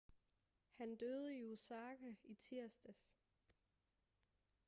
han døde i osaka i tirsdags